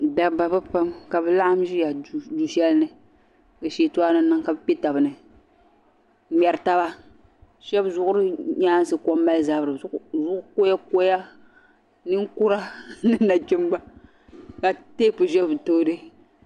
Dabba bɛ pam ka bi laɣim ʒeya duu shɛli ni ka shiintooni niŋ ka bi kpe tabi ni n ŋmeri taba shɛbi zuɣuri nyaansi ko m mali zabiri zuɣu koyakoya ninkura ni nachimba ka tep ʒe bɛ tooni.